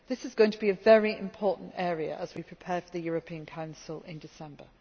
This is going to be a very important area as we prepare for the European Council in December.